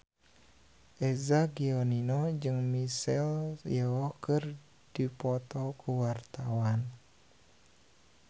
Eza Gionino jeung Michelle Yeoh keur dipoto ku wartawan